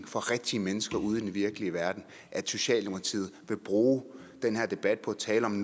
for rigtige mennesker ude i den virkelige verden at socialdemokratiet vil bruge den her debat på at tale om